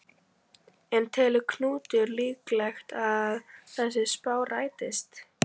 En telur Knútur líklegt að þessi spá rætist?